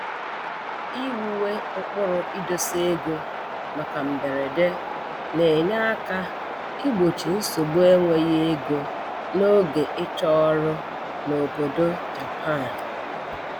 Iwuwe ụkpụrụ idosa ego maka mberede na-enye aka igbochi nsogbu enweghị ego n'oge ịchọ ọrụ n'obodo Japan